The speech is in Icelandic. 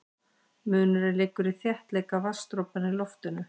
Munurinn liggur í þéttleika vatnsdropanna í loftinu.